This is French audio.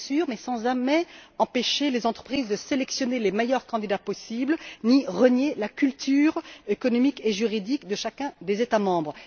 mais sans jamais empêcher les entreprises de sélectionner les meilleurs candidats possibles, ni renier la culture économique et juridique de chacun des États membres.